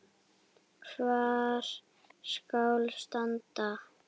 Hvar skal standa?